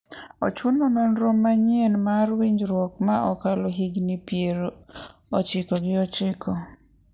ochuno nonro manyieny mar winjruok ma okalo higni piero ochiko gi ochiko